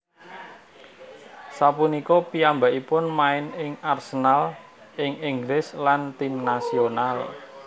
Sapunika piyambakipun main ing Arsenal ing Inggris lan tim nasional